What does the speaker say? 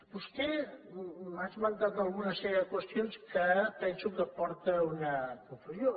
vostè m’ha esmentat una sèrie de qüestions que pen·so que porta a una confusió